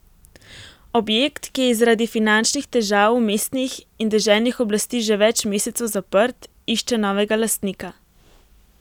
Objekt, ki je zaradi finančnih težav mestnih in deželnih oblasti že več mesecev zaprt, išče novega lastnika.